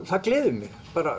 það gleður mig